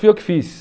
Foi eu que fiz.